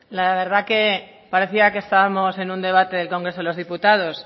la verdad que parecía que estábamos en un debate del congreso de los diputados